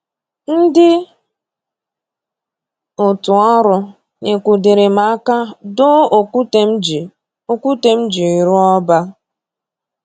Ndị otu ọrụ nyekwudịrị m aka doo okwute m ji okwute m ji rụọ ọba